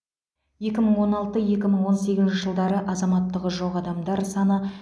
екі мың он алты екі мың он сегізінші жылдары азаматтығы жоқ адамдар саны